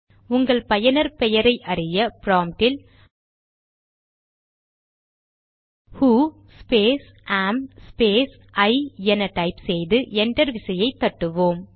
உங்கள் பயனர் பெயரை அறிய ப்ராம்ட்டில் who space am space I என டைப் செய்து என்டர் விசையை தட்டுவோம்